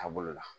Taabolo la